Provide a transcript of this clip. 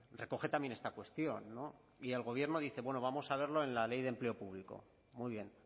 recoge también esta cuestión y el gobierno dice bueno vamos a verlo en la ley de empleo público muy bien